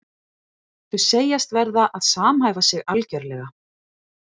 Þau segjast verða að samhæfa sig algjörlega.